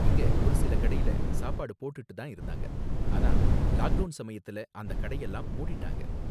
இங்க ஒரு சில கடையில சாப்பாடு போட்டுட்டு தான் இருந்தாங்க, ஆனா லாக் டவுன் சமயத்துல அந்த கடையெல்லாம் மூடிட்டாங்க.